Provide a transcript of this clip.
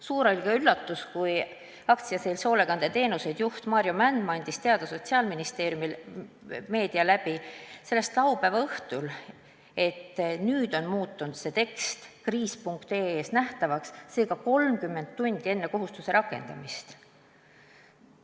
Suur oli üllatus, kui AS-i Hoolekandeteenused juht Maarjo Mändmaa andis teada, et Sotsiaalministeerium teatas meedia kaudu sellest laupäeva õhtul , seega 30 tundi enne kohustuse rakendamist.